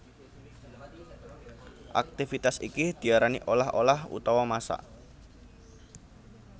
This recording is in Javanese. Aktivitas iki diarani olah olah utawa masak